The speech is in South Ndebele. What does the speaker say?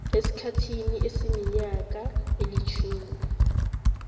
esikhathini esiminyaka elitjhumi